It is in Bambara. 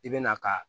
I bɛna ka